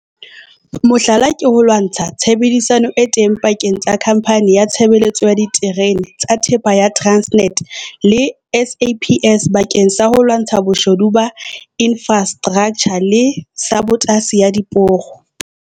Mohlala ke tshebedisano e teng pakeng tsa Khamphani ya Tshebeletso ya Diterene tsa Thepa ya Transnet le SAPS bakeng sa ho lwantsha boshodu ba infrastraktjha le sabotasi ya diporo.